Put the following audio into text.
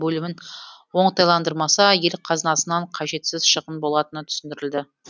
бөлімін оңтайландырмаса ел қазынасынан қажетсіз шығын болатыны түсіндірілді